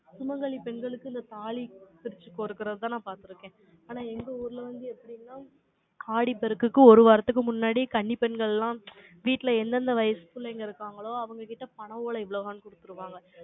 சுமங்கலி பெண்களுக்கு, இந்த தாலி, பிரிச்சு கொடுக்குறதுதான், நான் பார்த்திருக்க ஆனா, எங்க ஊர்ல வந்து, எப்படின்னா, ஆடிப்பெருக்குக்கு, ஒரு வாரத்துக்கு முன்னாடி, கன்னி பெண்கள் எல்லாம், வீட்டுல, எந்தெந்த வயசு புள்ளைங்க இருக்காங்களோ, அவங்க கிட்ட, பனை ஓலை, இவ்வளவுதான், கொடுத்திருவாங்க.